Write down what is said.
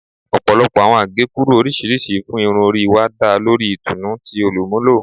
Ọpọlọpọ awọn agekuru oriṣiriṣi fun irun ori wa da lori itunu ti olumulo